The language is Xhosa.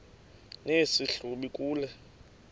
nesi hlubi kule